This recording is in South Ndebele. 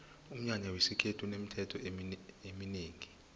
umnyanya wesikhethu unemithetho eminengi khulu